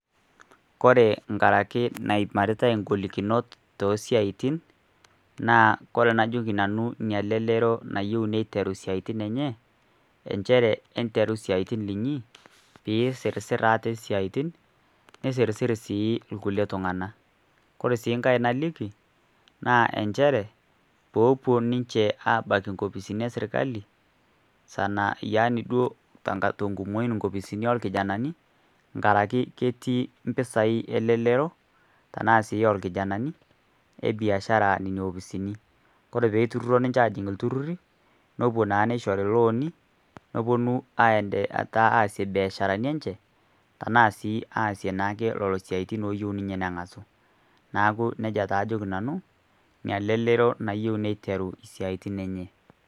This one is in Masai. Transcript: Oore nkaraki naimaritae igolikinot oo siaitin, naa oore enajoki nanu elelero nayieu neiteru isiaitin eenye, inchere enteru isiaitin iinyi peyie isirisiri aate isiaitin, nisirisiri sii irkulie tung'anak. Koree sii enkae naliki naa inchere, peyie eopuo ninche abaiki inkopisini e serkali, tenkumou nkaraki ketii impisai elelero, inaasie irkijanani biasharani oore peyie eituroro ninche aajing iltururi nepuo naa neishori loans nepuo aasie ibiasharani eenye. Niaku iina toki ajoki iina lelero nayieu nias imbiasharani eenye.